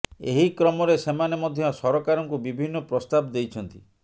ଏହି କ୍ରମରେ ସେମାନେ ମଧ୍ୟ ସରକାରଙ୍କୁ ବିଭିନ୍ନ ପ୍ରସ୍ତାବ ଦେଇଛନ୍ତି